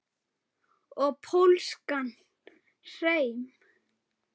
Og pólskan hreim.